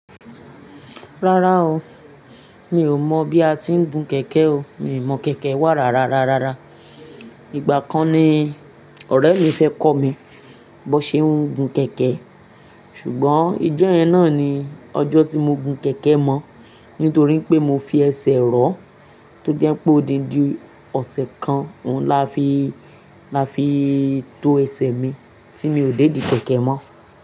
Rárá o, mi ò mọ̀ bí a tí ń gun kẹ̀kẹ́ o. Mi ò mọ̀ kẹ̀kẹ́ wà rara rara. Ìgbà kan ni ọ̀rẹ́ mi fẹ́ kọ́ mi bó ṣe ń gun kẹ̀kẹ́. Ṣùgbọ́n ijó yẹn náà ni ọjọ́ tí mo gun kẹ̀kẹ́ mọ́. Nítorí pé mo fi ẹsẹ̀ rọ́, tó jẹ́ pé odidi ọ̀sẹ̀ kan òun la fi, la fi tó ẹsẹ̀ mi tí mi ò dédi kẹ̀kẹ́ mọ́